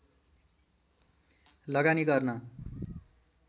लगानी गर्न